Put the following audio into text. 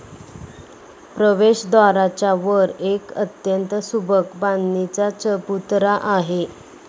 प्रवेशद्वाराच्या वर एक अत्यंत सुबक बांधणीचा चबुतरा आहे.